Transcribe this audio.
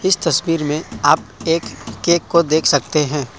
इस तस्वीर में आप एक केक को देख सकते हैं।